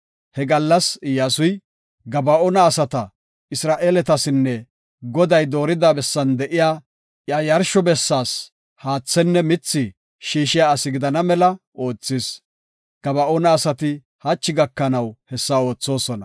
He gallas Iyyasuy, Gaba7oona asata Isra7eeletasinne Goday doorida bessan de7iya iya yarsho bessaas haathenne mithi shiishiya asi gidana mela oothis. Gaba7oona asati hachi gakanaw hessa oothosona.